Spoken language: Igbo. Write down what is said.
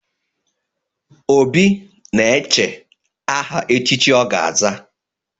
Obi na-eche aha echichi ọ ga-aza.